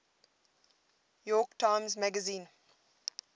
york times magazine